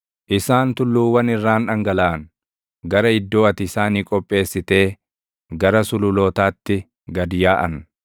Isaan tulluuwwan irraan dhangalaʼan; gara iddoo ati isaanii qopheessitee, gara sululootaatti gad yaaʼan.